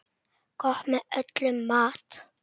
Gott með öllum mat.